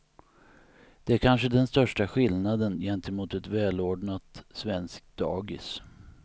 Det är kanske den största skillnaden gentemot ett välordnat svenskt dagis.